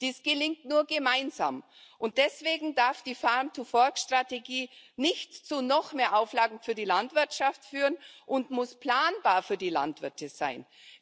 Dies gelingt nur gemeinsam, und deswegen darf die Farm to Fork Strategie nicht zu noch mehr Auflagen für die Landwirtschaft führen und muss planbar für die Landwirte sein.